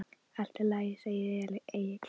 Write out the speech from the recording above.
Allt í lagi, segir Egill.